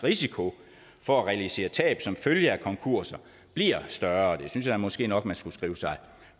risiko for at realisere tab som følge af konkurser bliver større det synes jeg måske nok man skulle skrive sig